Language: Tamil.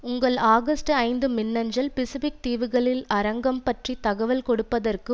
உங்கள் ஆகஸ்ட்டூ ஐந்து மின்னஞ்சல் பிசிபிக் தீவுகள் அரங்கு பற்றி தகவல் கொடுப்பதற்கு